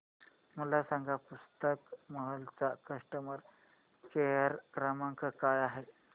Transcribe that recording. मला सांगा पुस्तक महल चा कस्टमर केअर क्रमांक काय आहे